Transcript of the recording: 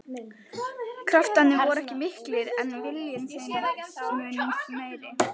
Kraftarnir voru ekki miklir en viljinn þeim mun meiri.